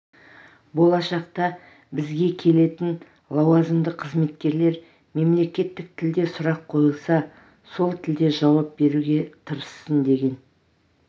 болашақта бізге келетін лауазымды қызметкерлер мемлекеттік тілде сұрақ қойылса сол тілде жауап беруге тырыссын деген